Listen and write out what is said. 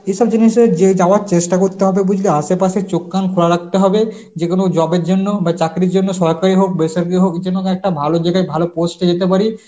এসব জিনিসের যে যাওয়ার চেষ্টা করতে হবে বুঝলি আশেপাশের চোখ কান খোলা রাখতে হবে যেকোনো job এর জন্য বা চাকরির জন্য সরকারি হোক বেসরকারি হোক যেন একটা ভালো যেটা ভালো post এ যেতে পারি